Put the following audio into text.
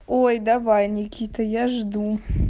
ой давай никита я жду